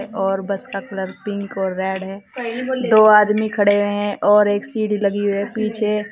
और बस का colour pink और रेड है दो आदमी खड़े हैं और एक सीढ़ी लगी है पीछे।